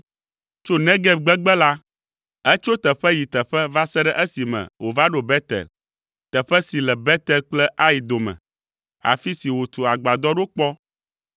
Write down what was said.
Tso Negeb gbegbe la, etso teƒe yi teƒe va se ɖe esime wòva ɖo Betel, teƒe si le Betel kple Ai dome, afi si wòtu agbadɔ ɖo kpɔ